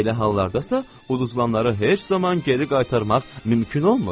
Belə hallardasa udulanları heç zaman geri qaytarmaq mümkün olmur.